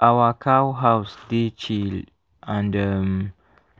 our cow house dey chill and um